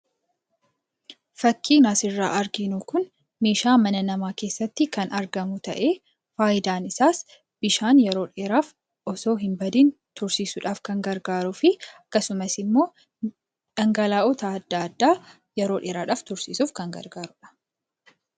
Fakkiin asirraa arginu kun meeshaa mana namaa keessatti kan argamu ta'ee faayidaan isaas bishaan yeroo dheeraaf osoo hin badiin tursiisudhaaf kan gargaarufi akkasumasimmoo dhangala'oota adda addaa yeroo dheeraadhaaf tursiisuuf kan gargaarudha.